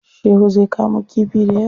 Shehu zai kamo kifi dayawa.